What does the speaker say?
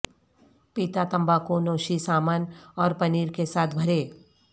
پیتا تمباکو نوشی سامن اور پنیر کے ساتھ بھرے